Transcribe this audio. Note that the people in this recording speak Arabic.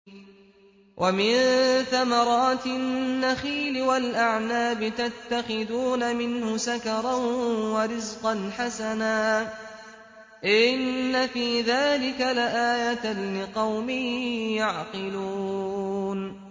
وَمِن ثَمَرَاتِ النَّخِيلِ وَالْأَعْنَابِ تَتَّخِذُونَ مِنْهُ سَكَرًا وَرِزْقًا حَسَنًا ۗ إِنَّ فِي ذَٰلِكَ لَآيَةً لِّقَوْمٍ يَعْقِلُونَ